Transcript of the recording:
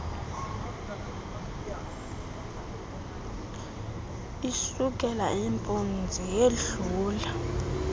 isukela impunzi yedlula